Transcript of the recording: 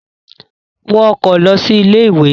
Wọ ọkọ̀ lọ sí ilé-ìwé!